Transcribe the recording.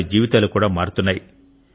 వారి జీవితాలు కూడా మారుతున్నాయి